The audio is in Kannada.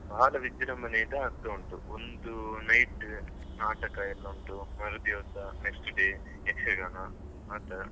ಬಾಳ ವಿಜೃಂಭಣೆಯಿಂದ ಆಗ್ತಾ ಉಂಟು ಒಂದು night ನಾಟಕೆಯೆಲ್ಲ ಉಂಟು ಮರುದಿವಸ next day ಯಕ್ಷಗಾನ ಆಟ.